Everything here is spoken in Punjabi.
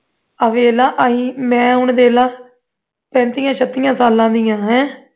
ਆਹ ਵੇਖਲਾ ਅਸੀਂ ਮੈਂ ਹੁਣ ਵੇਖ ਲੈ ਪੈਂਤੀਆਂ ਛੱਤੀਆਂ ਸਾਲਾਂ ਦੀਆਂ